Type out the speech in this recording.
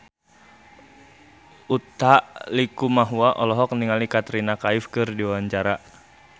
Utha Likumahua olohok ningali Katrina Kaif keur diwawancara